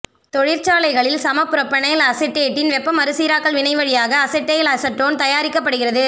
தொழிற்சாலைகளில் சமபுரொபனைல் அசெட்டேட்டின் வெப்ப மறுசீராக்கல் வினைவழியாக அசெட்டைல் அசெட்டோன் தயாரிக்கப்படுகிறது